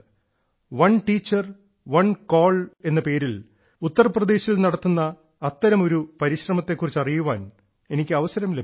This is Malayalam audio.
വൺ ടീച്ചർ വൺ സെൽ എന്ന പേരിൽ ഉത്തർപ്രദേശിൽ നടത്തുന്ന അത്തരമൊരു പരിശ്രമത്തെ കുറിച്ച് അറിയാൻ എനിക്ക് അവസരം ലഭിച്ചു